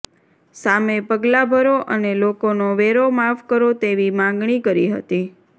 સામે પગલાં ભરો અને લોકોનો વેરો માફ કરો તેવી માગણી કરી હતી